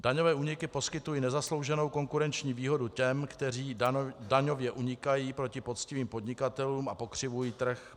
Daňové úniky poskytují nezaslouženou konkurenční výhodu těm, kteří daňově unikají, proti poctivým podnikatelům a pokřivují trh.